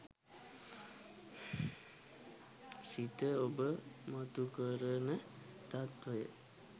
සිත ඔබ මතුකරන තත්වය